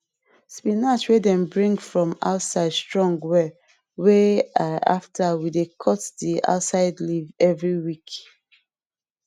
spinach wey dem bring come from outside strong wellwey ll after we dey cut the outside leaf every week